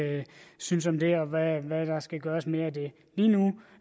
synes om det og hvad der skal gøres mere af det lige nu